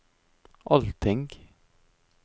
allting